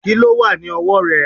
Kíló wà ní ọwọ́ rẹ̀?